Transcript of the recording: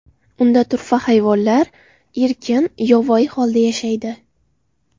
Unda turfa hayvonlar erkin, yovvoyi holda yashaydi.